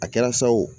A kɛra sa o